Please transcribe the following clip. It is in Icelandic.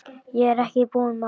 Ég er ekki búinn maður!